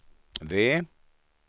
V